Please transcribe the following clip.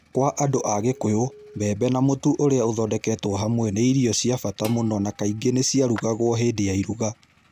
Kwa andũ a Kikuyu, mbembe na mũtu ũrĩa ũthondeketwo hamwe nĩ irio cia bata mũno na kaingĩ nĩ ciarutagwo hĩndĩ ya iruga.